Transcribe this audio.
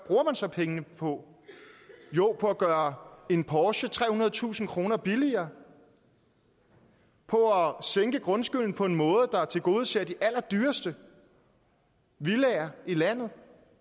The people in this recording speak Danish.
så pengene på jo på at gøre en porsche trehundredetusind kroner billigere på at sænke grundskylden på en måde der tilgodeser de allerdyreste villaer i landet